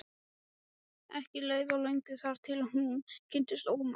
Ekki leið á löngu þar til hún kynntist Ómari.